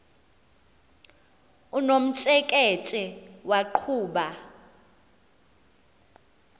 unomtsheke tshe waqhuba